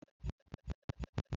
Sụọ ụda ahụ ọfuma!